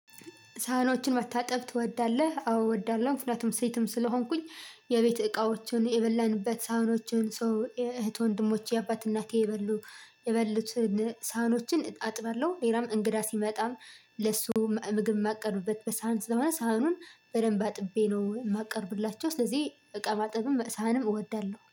ሳህኖችን መታጠብ ትወዳለህ? አዎ እወዳለሁ ምክንያቱም ሴትም ስለሆንኩኝ የቤት እቃዎችን የበላንበት ሳህኖችን ሰው እህት ወንድሞች የአባት እናቴ የበሉ የበሉትን ሳህኖችን አጥባለሁ ሌላም እንግዳ ሲመጣም ለሱ ምግብ የማቀርቡበት በሳህን ስለሆነ ሳህኑን በደንብ አጥቤ ነው የማቀርቡላቸው ስለዚህ እቃ ማጠብም ሳህንም እወዳለሁ